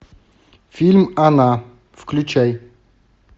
фильм она включай